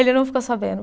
Ele não ficou sabendo.